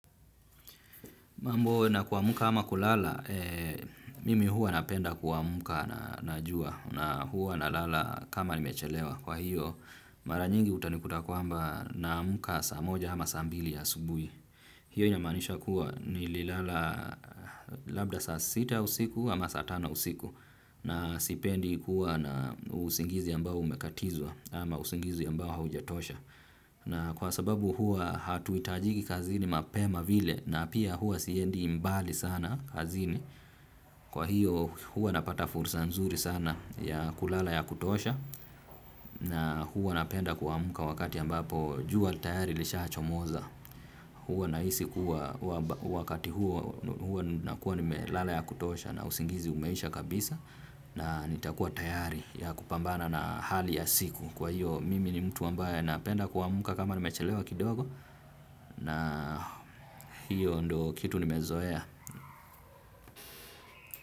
Mambo na kuamka ama kulala, mimi huwa napenda kuamka na jua na huwa nalala kama nimechelewa. Kwa hiyo, mara nyingi utanikuta kwamba naamka saa moja ama saa mbili asubuhi. Hiyo inamaanisha kuwa nililala labda saa sita usiku ama saa tano usiku. Na sipendi kuwa na usingizi ambao umekatizwa ama usingizi ambao haujatosha. Na kwa sababu huwa hatuhitajiki kazini mapema vile na pia huwa siendi mbali sana kazini. Kwa hiyo huwa napata fursa nzuri sana ya kulala ya kutosha. Na huwa napenda kuamka wakati ambapo jua tayari lishachomoza. Huwa nahisi kuwa wakati huo nakuwa nimelala ya kutosha na usingizi umeisha kabisa. Na nitakuwa tayari ya kupambana na hali ya siku. Kwa hiyo mimi ni mtu ambaye napenda kuamka kama nimechelewa kidogo na hiyo ndo kitu nimezoea.